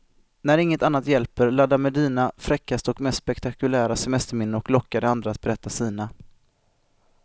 När inget annat hjälper, ladda med dina fräckaste och mest spektakulära semesterminnen och locka de andra att berätta sina.